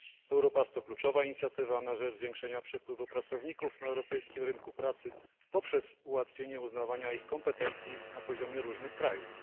Europass to kluczowa inicjatywa na rzecz zwiększenia przepływu pracowników na europejskim rynku pracy poprzez ułatwienie uznawania ich kompetencji na poziomie różnych krajów.